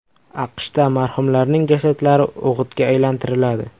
AQShda marhumlarning jasadlari o‘g‘itga aylantiriladi.